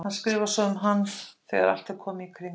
Hver skrifar svo um hann þegar allt er komið í kring?